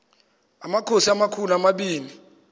amakhosi amakhulu omabini